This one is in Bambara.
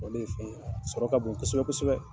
ale fɛn ye a sɔrɔ ka bon kosɛbɛ kosɛbɛ.